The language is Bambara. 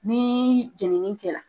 Nii jɛnini kɛra